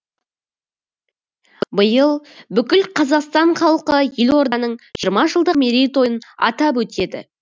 биыл бүкіл қазақстан халқы елорданың жиырма жылдық жылдық мерейтойын атап өтеді